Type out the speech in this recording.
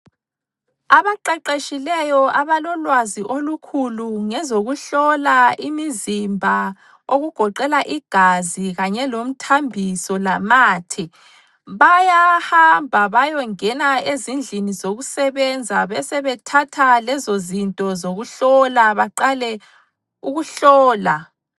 Abaqeqetshileyo abalolwazi olukhulu ngezokuhlola imizimba okugoqela igazi kanye lomthambiso lamathe, bayahamba bayongena ezindlini zokusebenza besebethatha lezozinto zokuhlola baqale ukuhlola.